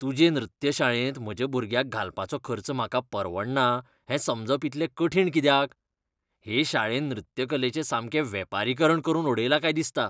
तुजे नृत्य शाळेंत म्हज्या भुरग्याक घालपाचो खर्च म्हाका परवडना हें समजप इतलें कठीण कित्याक? हे शाळेन नृत्यकलेचें सामकें वेपारीकरण करून उडयलां काय दिसता.